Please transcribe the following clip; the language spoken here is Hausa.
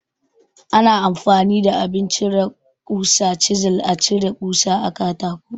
Ana amfani da abin cire ƙusa (Cizil) a cire kusa a katako.